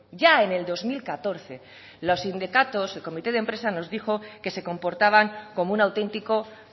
ya en el dos mil catorce los sindicatos el comité de empresa nos dijo que se comportaban como un auténtico